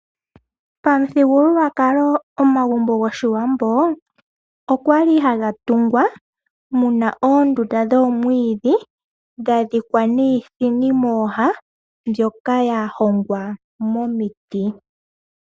Pamuthigululwakalo omagumbo goshiwambo okwali haga tungwa muna oondunda dhomwiidhi, dha dhikwa niithini mooha mbyoka yahogwa momiti.